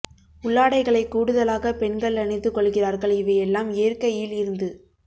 உள்ளாடைகளை கூடுதலாக பெண்கள் அணிந்து கொள்கிறார்கள் இவையெல்லாம் இயற்கயில் இருந்து